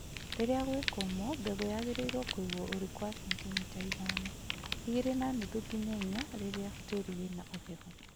Rĩrĩa gwĩ kũmũ mbegũ yagĩrĩirwo kũigwo ũriku wa sentimita ithano; igĩrĩ na nuthu nginya inya rĩrĩa tĩĩri wĩna ũhehu